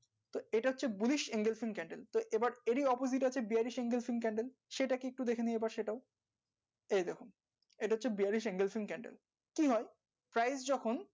তো এটা হচ্ছে তো এবার এরই opposite আছে bearish single sing candle সেটাকি একটু দেখেনি আবার সেটাও এই দেখো এটা হচ্ছে bearish single sing candle কি হয় price যখন